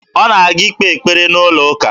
Ọ na-aga ikpe ekpere n'ụlọụka